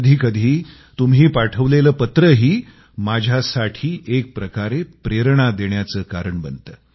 कधी कधी तुम्ही पाठवलेलं पत्रही माझ्यासाठी एक प्रकारे प्रेरणा देण्याचं कारण बनतं